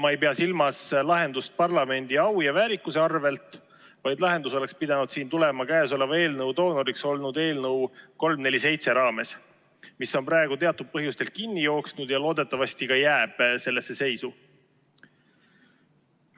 Ma ei pea silmas lahendust parlamendi au ja väärikuse arvel, vaid lahendus oleks pidanud tulema käesoleva eelnõu doonoriks olnud eelnõu 347 raames, mis on praegu teatud põhjustel kinni jooksnud ja loodetavasti ka jääb sellesse seisu.